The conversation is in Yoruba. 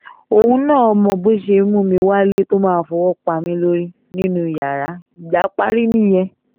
òun náà mọ bó ṣe ń mú mi wálé tó máa fọwọ́ pa mí lórí nínú yàrá ìjà parí nìyẹn